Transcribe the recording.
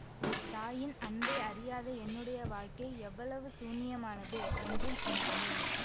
தாயின் அன்பை அறியாத என்னுடைய வாழ்க்கை எவ்வளவு சூன்யமானது என்றும் உணர்ந்தேன்